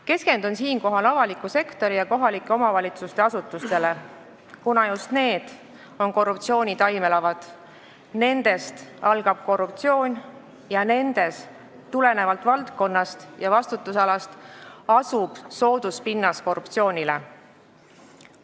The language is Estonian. Keskendun siinkohal avaliku sektori ja kohalike omavalitsuste asutustele, kuna just need on korruptsiooni taimelavad, nendest algab korruptsioon ning tulenevalt valdkonnast ja vastutusalast on nendes korruptsioonile soodus pinnas.